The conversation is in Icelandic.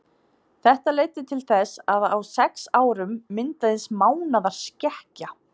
Þetta leiddi til þess að á sex árum myndaðist eins mánaðar skekkja.